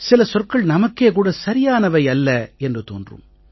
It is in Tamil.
சில சொற்கள் நமக்கே கூட சரியானவை அல்ல என்று தோன்றும்